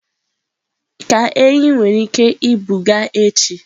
ka enyí nwere ike ibuga echi.